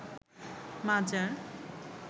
মাজার